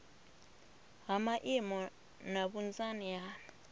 ha maimo na vhunzani ha